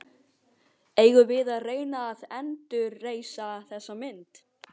Eigum við að reyna að endurreisa þessa mynd?